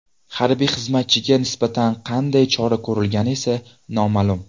Harbiy xizmatchiga nisbatan qanday chora ko‘rilgani esa noma’lum.